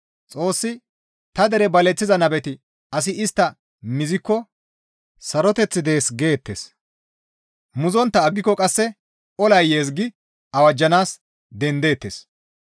Xoossi, «Ta dere baleththiza nabeti asi istta mizikko, ‹Saroteththi dees› geettes. Muzontta aggiko qasse, ‹Olay yees› gi awajjanaas dendeteettes.